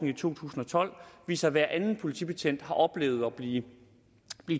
i to tusind og tolv viser at hver anden politibetjent har oplevet at blive